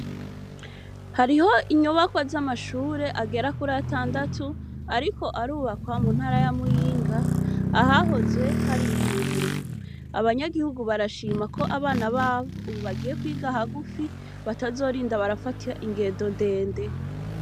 Hariho inyubakwa z'amashure agera kuri atandatu ariko arubakwa mu ntara ya Muyinga, ahahoze hari ivuriro. Abanyagihugu barashima ko abana babo ubu bagiye kwiga hagufi batazorinda barafata ingendo ndende.